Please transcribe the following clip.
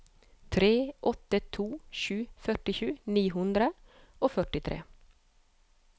tre åtte to sju førtisju ni hundre og førtitre